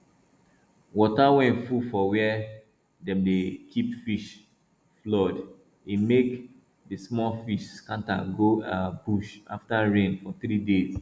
water wey full for where dem dey keep fish flood e make the small fish scatter go um bush after rain for three days